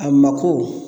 A mako